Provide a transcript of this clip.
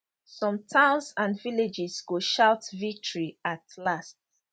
some towns and villages go shout victory at last